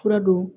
Fura don